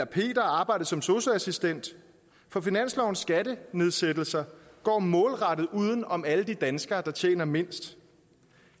peter og arbejdet som sosu assistent for finanslovens skattenedsættelser går målrettet uden om alle de danskere der tjener mindst